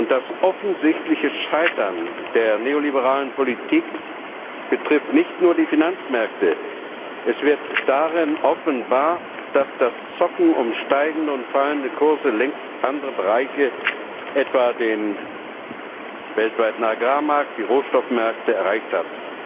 Das offensichtliche Scheitern der neoliberalen Politik betrifft nicht nur die Finanzmärkte, es wird darin offenbar, dass das Zocken um steigende und fallende Kurse längst andere Bereiche, etwa den weltweiten Agrarmarkt oder die Rohstoffmärkte, erreicht hat.